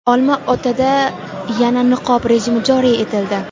Olma-otada yana niqob rejimi joriy etildi.